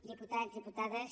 diputats diputades